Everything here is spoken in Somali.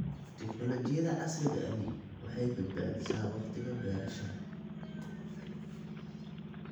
Tignoolajiyada casriga ahi waxay badbaadisaa wakhtiga beerashada.